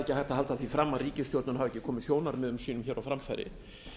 halda því fram að ríkisstjórnin hafi ekki komið sjónarmiðum sínum á framfæri